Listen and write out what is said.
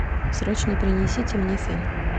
срочно принесите мне фен